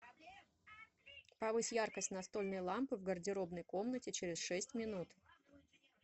повысь яркость настольной лампы в гардеробной комнате через шесть минут